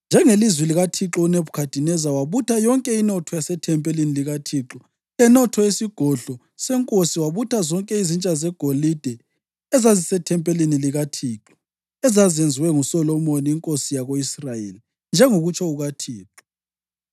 Njengelizwi likaThixo, uNebhukhadineza wabutha yonke inotho yasethempelini likaThixo lenotho yesigodlo senkosi, wabutha zonke izitsha zegolide ezazisethempelini likaThixo, ezazenziwe nguSolomoni inkosi yako-Israyeli, njengokutsho kukaThixo.